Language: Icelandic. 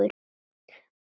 Bara gott.